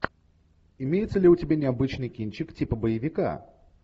имеется ли у тебя необычный кинчик типа боевика